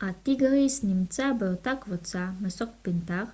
הטיגריס נמצא באותה קבוצה מסוג פנתר